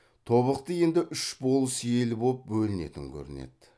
тобықты енді үш болыс ел боп бөлінетін көрінеді